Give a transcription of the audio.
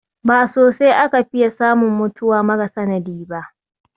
Ba sosai aka fiya samun mutuwa mara sanadi ba